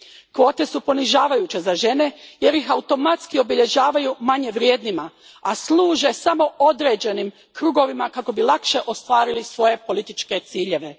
Kvote su ponižavajuće za žene jer ih automatski obilježavaju manje vrijednima, a služe samo određenim krugovima kako bi lakše ostvarili svoje političke ciljeve.